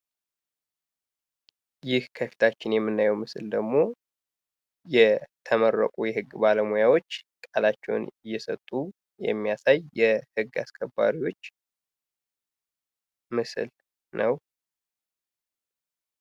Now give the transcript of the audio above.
ይህ ከፊታችን የምናየው ምስል ደግሞ የተመረቁ የህግ ባለሙያዎች ቃላቸውን እየሰጡ የሚያሳይ የህግ አስከባሪዎች ምስል ነው።